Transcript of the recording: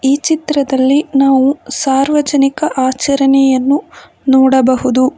ಈ ಚಿತ್ರದಲ್ಲಿ ನಾವು ಸಾರ್ವಜನಿಕ ಆಚರಣೆಯನ್ನು ನೋಡಬಹುದು.